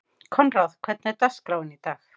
Koðrán, hvernig er dagskráin í dag?